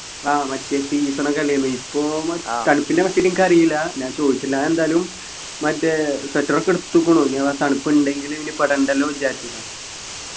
ആഹ് മറ്റേ season ഒക്കെ അല്ലെന്നു ഇപ്പൊ നമ്മ തണുപ്പിനെ പറ്റിട്ടെനിക്കറീല ഞാൻ ചോയിച്ചില്ലാന്നെന്തായാലും മറ്റേ sweater ഒക്കെ എടുത്തുകുണ് ഇനി അഥവാ തണുപ്പുണ്ടെങ്കില് പിന്നെ പെടണ്ടല്ലോ ന്നു വിചാരിച്ചിട്ടാണ്